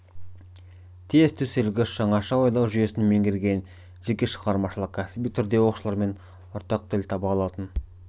тез төселгіш жаңаша ойлау жүйесін меңгерген жеке шығармашылық кәсіби түрде оқушылармен ортақ тіл таба алатын